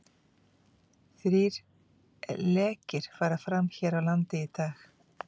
Þrír lekir fara fram hér á landi í dag.